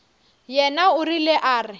yena o rile a re